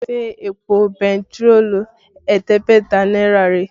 Ṣé èpò bentiroolu ẹ̀ẹ́dẹ́gbẹ̀ta náírà rèé?